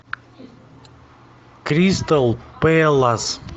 кристал пэлас